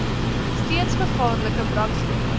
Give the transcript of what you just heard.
steeds gevaarlike brandstowwe